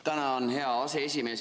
Tänan, hea aseesimees!